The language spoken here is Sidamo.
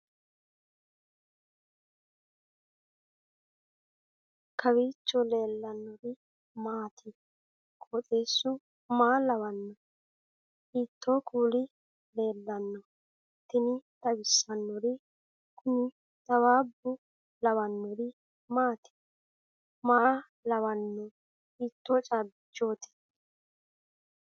kowiicho leellannori maati ? qooxeessu maa lawaanno ? hiitoo kuuli leellanno ? tini xawissannori kuni xawaabba lawannori maati maa lawanno hiitto caabbichooti